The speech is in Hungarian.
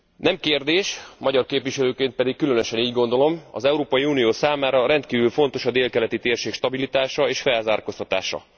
Nem kérdés magyar képviselőként pedig különösen így gondolom az Európai Unió számára rendkívül fontos a délkeleti térség stabilitása és felzárkóztatása.